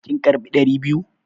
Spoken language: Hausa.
Kin karbi ɗari biyu?